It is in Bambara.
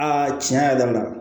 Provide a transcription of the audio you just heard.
Aa tiɲɛ yɛrɛ la